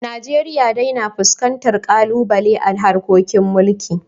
Najeriya dai na fuskantar ƙalubale a harkokin mulkin